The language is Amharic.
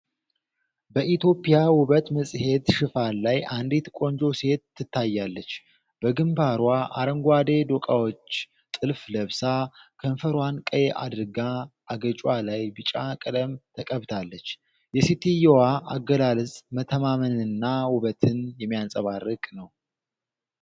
በኢትዮጵያዊ ውበት መጽሔት ሽፋን ላይ አንዲት ቆንጆ ሴት ትታያለች። በግንባሯ አረንጓዴ ዶቃዎች ጥልፍ ለብሳ፤ ከንፈሯን ቀይ አድርጋ አገጯ ላይ ቢጫ ቀለም ተቀብታለች። የሴትየዋ አገላለጽ መተማመንንና ውበትን የሚያንጸባርቅ ነው።